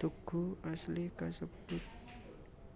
Tugu asli kasebut